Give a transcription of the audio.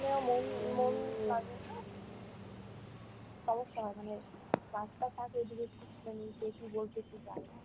মন, মন লাগে না, সমস্যা হয় মানে রাস্তা থাকে এদিকে মানে কে কী বলছে একটু যাই।